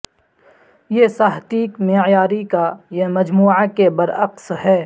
یہ ساہتیک معیاری کا یہ مجموعہ کے برعکس ہے